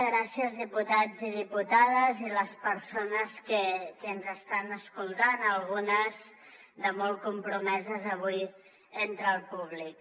gràcies diputats i diputades i persones que ens estan escoltant algunes de molt compromeses avui entre el públic